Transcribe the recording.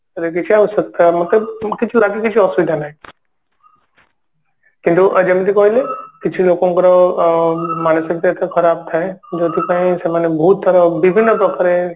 କିଛି ଅସୁବିଧା ନାଇଁ କିନ୍ତୁ ଯେମତି କହିଲି କିଛି ଲୋକଙ୍କର ଅ ଉଁ ମାନସିକ ଖରାପ ଥାଏ ଯେଉଁଥିପାଇଁ ସେମାନେ ତାର ବିଭିନ୍ନ ପ୍ରକାରେ